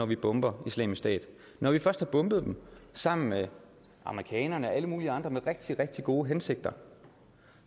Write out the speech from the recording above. vi bomber islamisk stat når vi først sammen med amerikanerne og alle mulige andre med rigtig rigtig gode hensigter